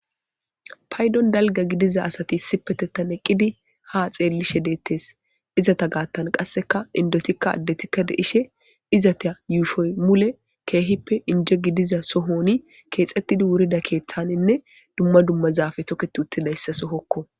paydon dalga gidiza asati isipetettan eqqidi ha xeellishe deettes izata gaattan qasseka indotikka addetikka deishe izata yuushohoy mule keehippe inje gidiza sohoni keexxettidi wurda keeththaninne dumma dumma zaafe tokketi uttidayssa sohokko